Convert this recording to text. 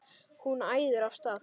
Hún æðir af stað.